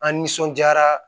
An nisɔndiyara